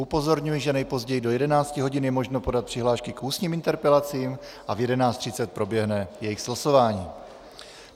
Upozorňuji, že nejpozději do 11 hodin je možno podat přihlášky k ústním interpelacím a v 11.30 proběhne jejich slosování.